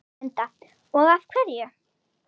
Linda: Og af hverju?